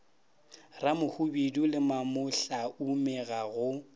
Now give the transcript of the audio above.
ramohwibidu le mamohlaume ga go